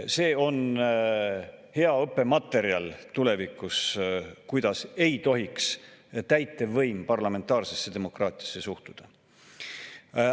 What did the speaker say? See on tulevikus hea õppematerjal, kuidas ei tohiks täitevvõim parlamentaarsesse demokraatiasse suhtuda.